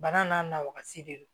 Bana n'a nawasi de don